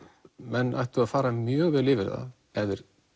menn ættu að fara mjög vel yfir það ef þeir